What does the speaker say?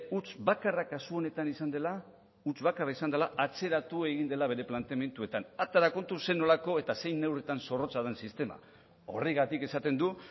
huts bakarra kasu honetan izan dela atzeratu egin dela bere planteamenduetan atera kontu zer nolako eta zein neurritan zorrotza da sistema horregatik esaten du